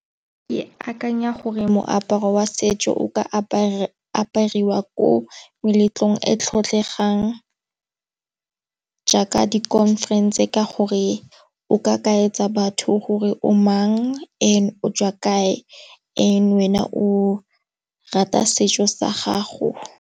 Ke akanya gore moaparo wa setso o ka apara apariwa ko meletlong e tlotlegang, jaaka di khonferense ka gore o ka kaetsa batho gore o mang o tswa kae ene wena o rata setso sa gago.